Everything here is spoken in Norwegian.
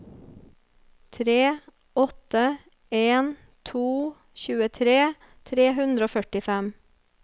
tre åtte en to tjuetre tre hundre og førtifem